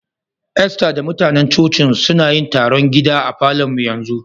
Esther da mutanen coci'n su, suna yin taron gida a Falo'n mu yanzu.